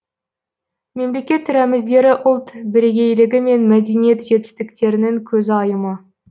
мемлекет рәміздері ұлт бірегейлігі мен мәдениет жетістіктерінің көзайымы